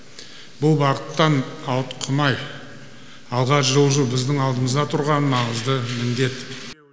бұл бағыттан ауытқымай алға жылжу біздің алдымызда тұрған маңызды міндет